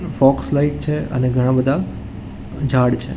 Focus light છે અને ઘણા બધા ઝાડ છે.